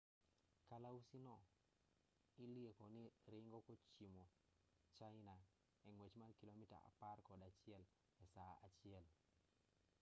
kalausi no ilieko ni ringo kochimo china e ng'wech mar kilomita apar kod achiel e saa achiel